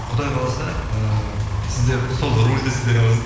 құдай қаласа ііі сіздер сол рульді сіздер